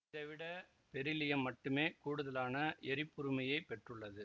இதை விட பெரிலியம் மட்டுமே கூடுதலான எரிப்புறுமையைப் பெற்றுள்ளது